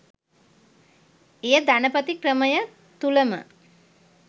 එය ධනපති ක්‍රමය තුළම